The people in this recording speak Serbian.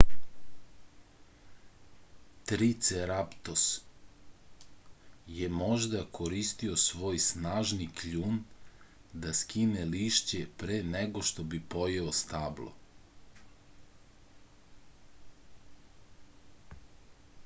triceratops je možda koristio svoj snažni kljun da skine lišće pre nego što bi pojeo stablo